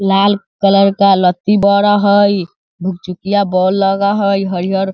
लाल colour का लत्ती बर हई भूक-चुकिया बल्ब लग हई हरिहर।